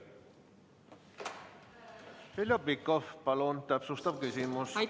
Heljo Pikhof, palun täpsustav küsimus!